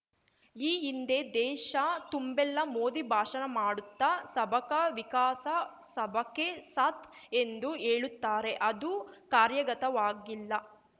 ಈ ಹಿಂದೆ ದೇಶ ತುಂಬೆಲ್ಲಾ ಮೋದಿ ಭಾಷಣ ಮಾಡುತ್ತಾ ಸಬಕಾ ವಿಕಾಸ ಸಬಕೆ ಸಾತ್ ಎಂದು ಹೇಳುತ್ತಾರೆ ಅದು ಕಾರ್ಯಗತವಾಗಿಲ್ಲಾ